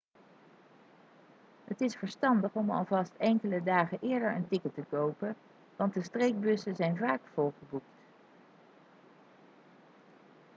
het is verstandig om alvast enkele dagen eerder een ticket te kopen want de streekbussen zijn vaak volgeboekt